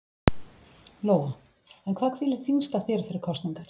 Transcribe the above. Lóa: En hvað hvílir þyngst á þér fyrir kosningarnar?